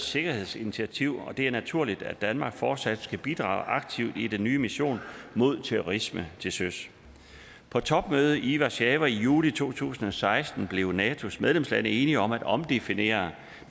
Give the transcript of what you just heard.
sikkerhedsinitiativ og det er naturligt at danmark fortsat skal bidrage aktivt i den nye mission mod terrorisme til søs på topmødet i warszawa i juli to tusind og seksten blev natos medlemslande enige om at omdefinere